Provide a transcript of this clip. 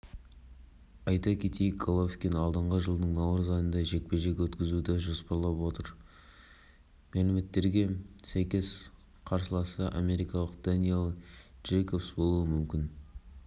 мәліметі бойынша головкиннің жаттықтырушысы абель санчес боксшының алдағы мерекелерді жанұясымен бірге өткізу үшін жыл соңына дейін демалыс алғандығын айтты жаттығу жұмыстарына